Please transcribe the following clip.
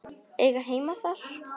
Eiga heima þar.